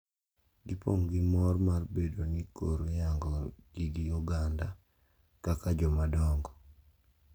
Gipong` gi mor mar bedo ni koro iyango gi gi oganda kaka jomadongo.